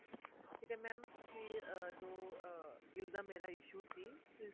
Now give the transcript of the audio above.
ਠੀਕ ਏ mam ਤੁਸੀਂ ਅਹ ਜੋ ਅਹ bill ਦਾ ਮੇਰਾ issue ਸੀ ਤੁਸੀਂ